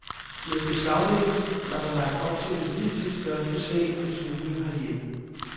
Med beslaglæggelsen var der lagt op til den hidtil største sag om smugling herhjemme.